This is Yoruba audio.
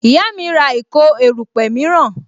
Ìyá mi ń ra ìkó erupe miran